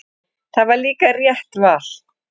Það var líka rétt val.